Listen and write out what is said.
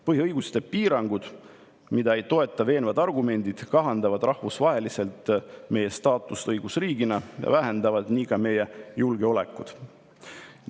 Põhiõiguste piirangud, mida ei toeta veenvad argumendid, kahandavad rahvusvaheliselt meie staatust õigusriigina ja vähendavad nii ka meie julgeolekut.